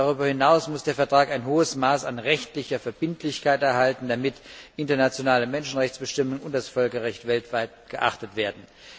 Darüber hinaus muss der Vertrag ein hohes Maß an rechtlicher Verbindlichkeit erhalten, damit internationale Menschenrechtsbestimmungen und das Völkerrecht weltweit geachtet werden.